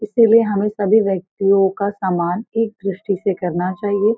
इसीलिए हमें सभी व्यक्तियों का सामान एक दृष्टि से करना चाहिए।